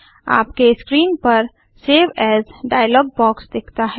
आपके स्क्रीन पर save as dialog box दिखता है